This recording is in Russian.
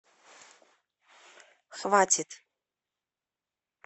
хватит